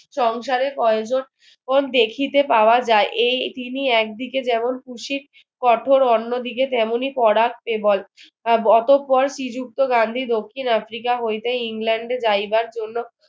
সংসারে কয়েকজন দেখিতে পাওয়া যাই এই তিনি একদিকে যে মন খুশি কঠোর অন্যদিকে তেমনই কড়াক অতঃপর শ্রীযুক্ত গান্ধী দক্ষিণ আফ্রিকা হইতে ইংল্যান্ডে যাইবার জন্য